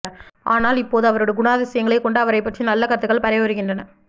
ஆனால் இப்போது அவருடைய குணாதிசயங்களை கொண்டு அவரைப் பற்றி நல்ல கருத்துக்கள் பரவி வருகின்றன